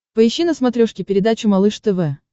поищи на смотрешке передачу малыш тв